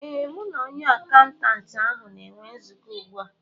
Ee, m na onye akaụntantị ahụ na-enwe nzukọ ugbu a